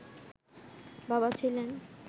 বাবা ছিলেন